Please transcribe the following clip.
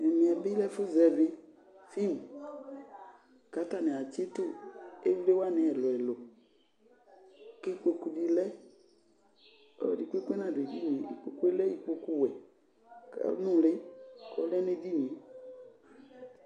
Ɛmɛbɩ lɛ efu zɛvi film, katanɩ atsɩtʊ ivlɩwanɩ ɛlʊɛlʊ, kɩkpokʊ di lɛ Ɔlɔdi kpekpe nadʊ edinie Ikpokʊ lɛ ikpokʊ wɛ kanʊli kɔlɛ nu edɩnɩe